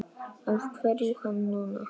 Af hverju hann núna?